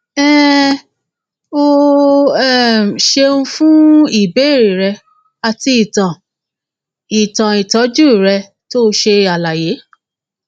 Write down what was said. um o um ṣeun fún ìbéèrè rẹ àti ìtàn ìtàn ìtọjú rẹ tó ṣe àlàyé